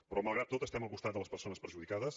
però malgrat tot estem al costat de les persones perjudicades